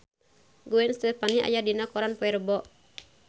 Gwen Stefani aya dina koran poe Rebo